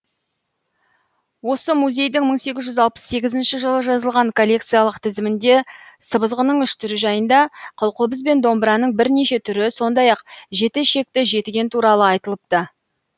осы музейдің мың сегіз жүз алпыс сегізінші жылы жазылған коллекциялық тізімінде сыбызғының үш түрі жайында қылқобыз бен домбыраның бірнеше түрі сондай ақ жеті ішекті жетіген туралы айтылыпты